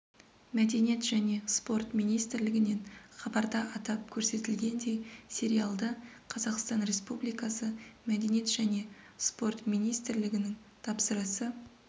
мәдениет және спорт министрлігінен хабарда атап көрсетілгендей сериалды қазақстан республикасы мәдениет және спорт министрлігінің тапсырысы